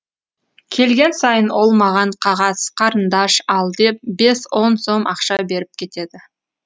келген сайын ол маған қағаз карындаш ал деп бес он сом ақша беріп кетеді